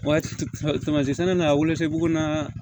Waati na wele se bugu na